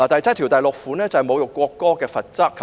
該條文是有關侮辱國歌的罰則。